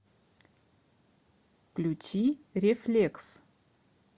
включи рефлекс